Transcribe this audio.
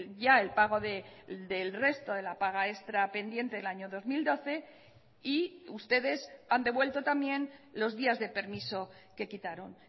ya el pago del resto de la paga extra pendiente del año dos mil doce y ustedes han devuelto también los días de permiso que quitaron